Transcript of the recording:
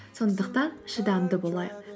сондықтан шыдамды болайық